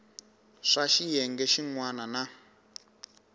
swa xiyenge xin wana na